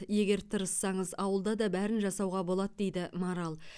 егер тырыссаңыз ауылда да бәрін жасауға болады дейді марал